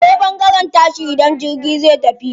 Akwai ɓangaren tashi idan jirgi zai tafi.